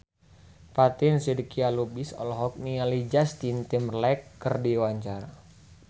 Fatin Shidqia Lubis olohok ningali Justin Timberlake keur diwawancara